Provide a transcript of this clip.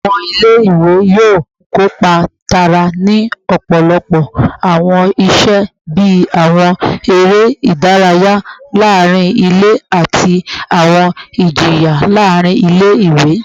Awọn ọmọ ile-iwe yoo kopa taara ni ọpọlọpọ awọn iṣe bii awọn ere idaraya laarin ile ati awọn ijiyan laarin ile-iwe